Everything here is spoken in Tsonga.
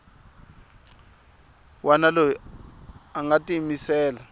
wana loyi a nga tiyimisela